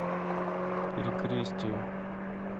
перекрестие